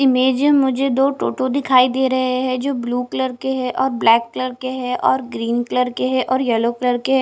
image मुझे दो टोटो दिखाई दे रहे हैं जो ब्लू कलर के हैं और ब्लैक कलर के हैं और ग्रीन कलर के हैं और येलो कलर के --